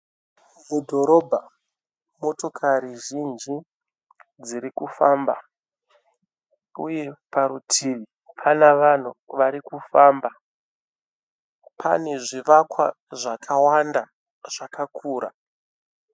Mudhorobha motokari zhinji dzirikufamba uye parutivi pana vanhu varikufamba. Pane zvivakwa zvakawanda zvakakura.